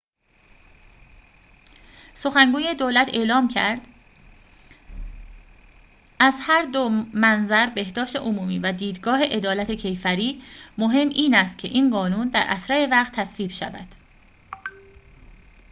سخنگوی دولت اعلام کرد از هر دو منظر بهداشت عمومی و دیدگاه عدالت کیفری مهم این است که این قانون در اسرع وقت تصویب شود